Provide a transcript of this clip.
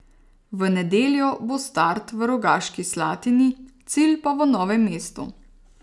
V nedeljo bo start v Rogaški Slatini, cilj pa v Novem mestu.